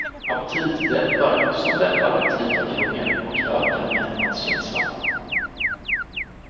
Aptitdämpare, som dämpar aptit och hunger och ökar mättnadskänslan.